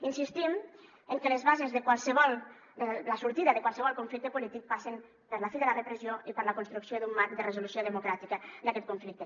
insistim en que la sortida de qualsevol conflicte polític passa per la fi de la repressió i per la construcció d’un marc de resolució democràtica d’aquest conflicte